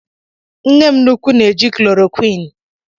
Nnem nnuku m na-eji chloroquini